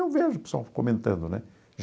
Eu vejo o pessoal comentando, né?